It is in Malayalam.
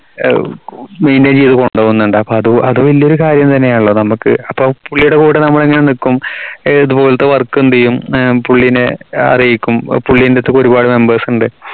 maintain ചെയ്തു കൊണ്ടുവന്നുണ്ട് അപ്പോ അത് അത് വലിയൊരു കാര്യം തന്നെയാണല്ലോ നമുക്ക് അപ്പോ പുള്ളിയുടെ കൂടെ ഇങ്ങനെ നിക്കും ഏർ ഇതുപോലെത്തെ work എന്തേയും ഏർ പുള്ളിനെ അറിയിക്കും പുള്ളിന്റെ അയനത്തേക്ക് ഒരുപാട് members ഉണ്ട്